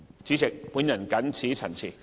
主席，我謹此陳辭。